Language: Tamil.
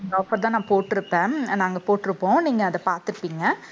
இந்த offer தான் நான் போட்டிருப்பேன். நாங்க போட்டிருப்போம். நீங்க அதை பார்த்திருப்பீங்க